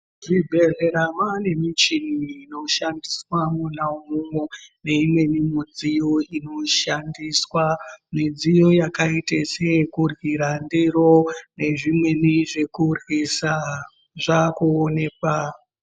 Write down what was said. Zvibhedhlera mwaane michini inoshandiswa mwona umwomwo, neimweni mudziyo inoshandiswa, midziyo yakaite seyekuryira ,ndiro nezvimweni zvekuryisa ,zvaakuonekwa.